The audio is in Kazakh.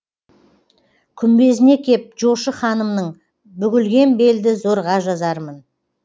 күмбезіне кеп жошы ханымның бүгілген белді зорға жазармын